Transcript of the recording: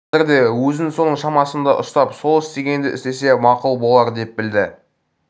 қазірде өзін соның шамасында ұстап сол істегенді істесе мақұл болар деп білді